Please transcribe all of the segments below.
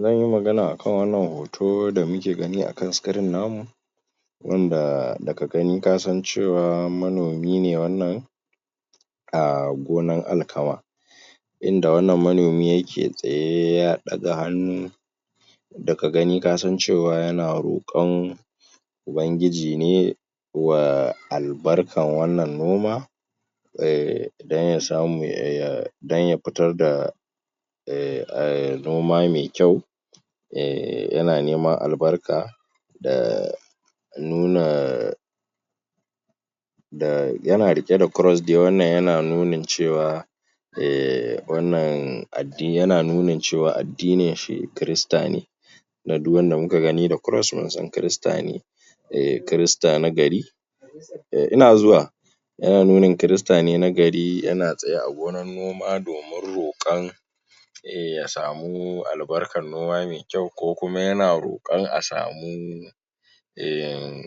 Zan yi magana akan wannan hoto, hoto da muke gani akan sikirin namu, wanda da ka gani kjasan cewa manomi ne wannan a gonar Alkama. Inda wannan manomi yake tsaye, ya ɗaga hannu daka gani ka san cewa yana rokon Ubangiji ne wa albarkar wannan noma, don ya smu ya, don ya fitar da noma mai kyau, yana neman albarka, da nuna yana riƙe da kros dai, wannan yana nuna cewa ehh, wannan dai yana nuna cewa addininshi, Kirista ne. Don duk wanda muka gani da Cross, wato Gicciye, mun san Kirista ne. Eh Kirista na gari, Yana nuna Kirista ne na gari, yana tsaye a gonan noma, domin roƙan ya samu albarkan noma mai mkyau, ko kuma yana roƙon a samu ehhn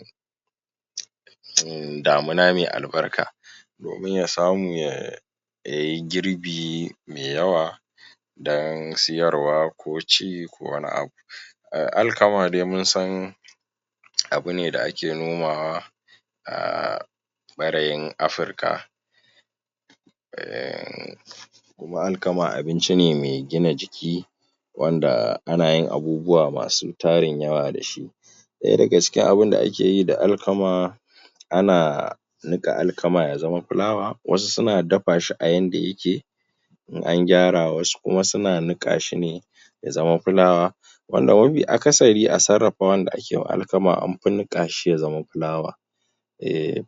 damina mai albarka, domin ya samu ya yi girbi mai yawa, don siyarwa, ko ci ko wani abu. Alkama dai mun san, abu ne da ake nomawa a ɓarayin Afirka, ehhnn kuma Alkama abinci ne mai gina jiki, wanda anayin abubuwa masu tarin yawa da shi. ɗaya daga cikin irin abun da akeyi da alkama, ana niƙa Alkama ya zama filawa, wasu suna dafa shi a yanda yakje, in an gyara, wasu kuma suna niƙa shi ne, ya zama filawa, wanda mafi akasari a sarafawan da akewa Alkama an fi niƙa shi ya zam filawa.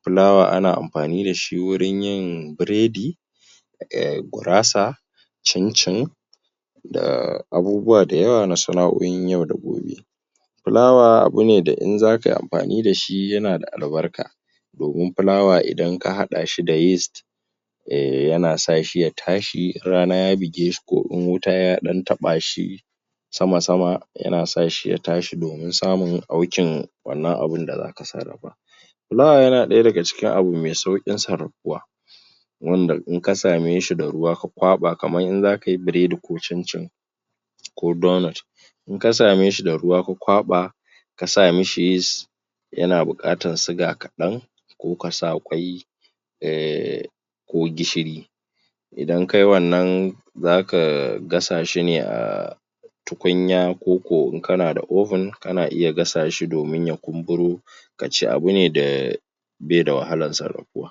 Filawa ana amfani da shi wajen yin bredi, gurasa, cincin, da abubuwa da yawa na sana'o'in yau da gobe. Filawa abu wanda in za kai amfani da shi yana da albarka, domin filawa idan ka haɗa shi da yis, yana sa shi ya tashi in rana ya buge shi, ko in wuta ya ɗan taɓa shi, sama-sama yana sa shi ya tshi fdomin samun aukin wannan abun da zaka sarafa. Filawa, yana ɗaya daga cikin abiu mai sauƙin sarafuwa, wanda in ka same shi da ruwa, ka kwaɓa kamar in za kayi bredi ko cincin, ko donot, In ka same shi da ruwa ka kwaba ka sa mishi yis, yana buƙatar siga kaɗan, ko ka sa ƙwai, ko gishiri. Idan kayi wannan zaka gasa shi ne a a tukunya, ko ko in kana da Oven, kana iya gasa shi domin ya kumburo, ka ci, abu ne da abi da wahalan sarafuwa.